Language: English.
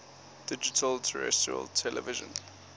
digital terrestrial television